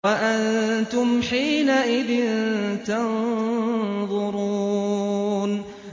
وَأَنتُمْ حِينَئِذٍ تَنظُرُونَ